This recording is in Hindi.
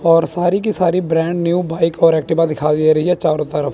और सारी की सारी ब्रांड न्यू बाइक और एक्टिवा दिखा दे रही है चारों तरफ।